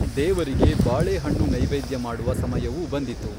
ದೇವರಿಗೆ ಬಾಳೆಹಣ್ಣು ನೈವೇದ್ಯ ಮಾಡುವ ಸಮಯವೂ ಬಂದಿತು.